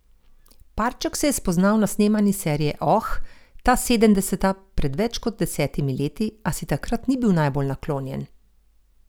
Parček se je spoznal na snemanju serije Oh, ta sedemdeseta pred več kot desetimi leti, a si takrat ni bil najbolj naklonjen.